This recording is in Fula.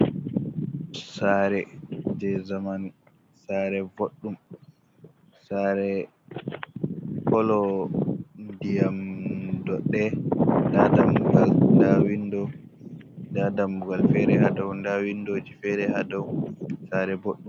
Sare je zamanu, sare bodɗum sare kolo ndiyam ɗowɗe nda dammugal, nda dammugal fere ha ɓawo nda windoji fere ha to sare boɗɗum.